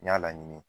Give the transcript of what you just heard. N y'a laɲini